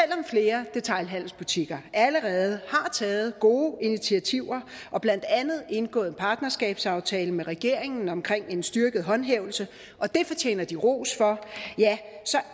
flere detailhandelsbutikker allerede har taget gode initiativer og blandt andet indgået en partnerskabsaftale med regeringen omkring en styrket håndhævelse og det fortjener de ros for så